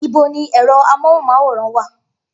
Ibo ni ẹ̀rọ amóhùnmáwòrán wà?